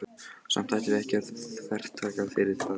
Samt ættum við ekki að þvertaka fyrir það, Valdimar.